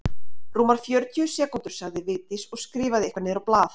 Rúmar fjörutíu sekúndur sagði Vigdís og skrifaði eitthvað niður á blað.